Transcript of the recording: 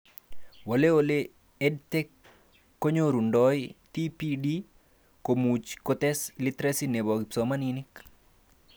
Wali ole EdTech konyorundoi TPD komuch kotes literacy nebo kipsomanink